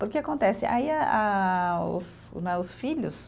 Porque acontece aí a os, né, os filhos